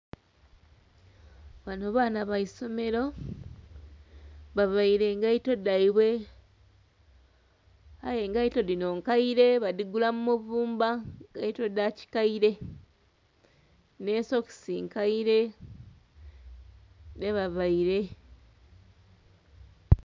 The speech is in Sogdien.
Bano baana baisomero, bavaire engaito dhaibwe. Aye engaito dhino nkaire badhigula mu muvumba. Ngaito dha kikaire, ne socks nkaire dhebavaire.